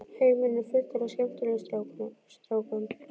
Heimurinn er fullur af skemmtilegum strákum.